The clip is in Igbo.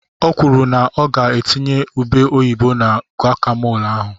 O kwuru na ọ ga-etinye ube oyibo na gokamol ahụ.